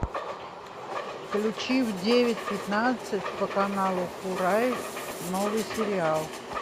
включи в девять пятнадцать по каналу курай новый сериал